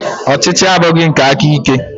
Ọchịchị abụghị nke aka ike.